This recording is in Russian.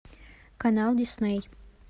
канал дисней